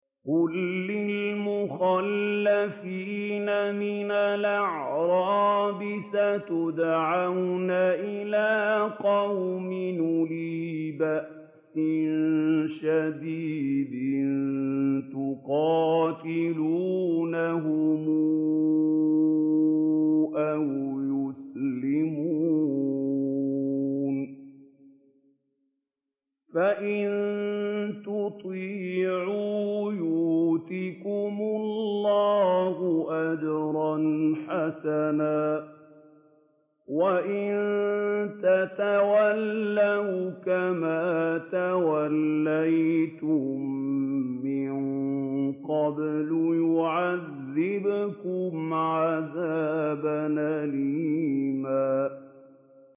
قُل لِّلْمُخَلَّفِينَ مِنَ الْأَعْرَابِ سَتُدْعَوْنَ إِلَىٰ قَوْمٍ أُولِي بَأْسٍ شَدِيدٍ تُقَاتِلُونَهُمْ أَوْ يُسْلِمُونَ ۖ فَإِن تُطِيعُوا يُؤْتِكُمُ اللَّهُ أَجْرًا حَسَنًا ۖ وَإِن تَتَوَلَّوْا كَمَا تَوَلَّيْتُم مِّن قَبْلُ يُعَذِّبْكُمْ عَذَابًا أَلِيمًا